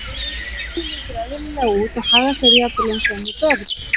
Barnið lítur eðlilega út og hagar sér jafnvel eins og önnur börn.